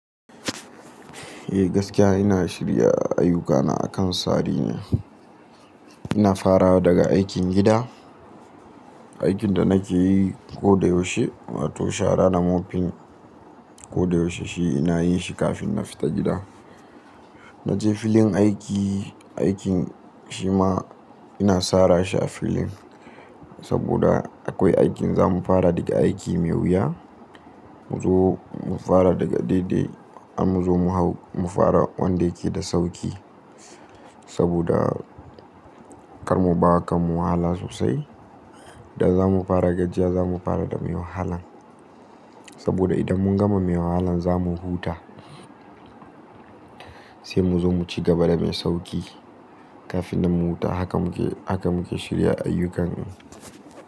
Eh gaskiya ina shirya ayyukana akan tsarin. Ina fara daga aikin gida, aikin da nake yi koda yaushe wato shara na mofin koda yaushe shi ina yin shi kafin na fita gida. Naje filin aiki, aikin shi ma ina sara shi a filin saboda akwai aikin zamu fara daga aiki mai wuya mu zo mu fara daga daidai in mu zo mu hau mu fara wanda yake da sauki saboda kar mu bawa kanmu wahala sosai. Da zamu fara gajiya zamu fara da mai wahalan saboda idan mun gama mai wahalan zamu huta sai mu zo mu ci gaba da mai sauki kafin nan mu huta haka muke, haka muke shirya ayyukan.